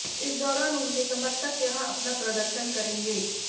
इस दौरान उनके समर्थक यहां अपना प्रदर्शन करेंगे